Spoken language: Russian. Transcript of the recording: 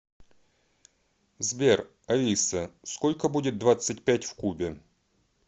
сбер алиса сколько будет двадцать пять в кубе